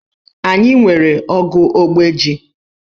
Anyị nwere ogu ogbe ji.